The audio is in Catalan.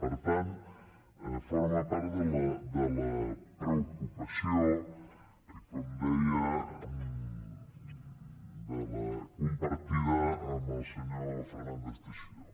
per tant forma part de la preocupació com deia compartida amb el senyor fernández teixidó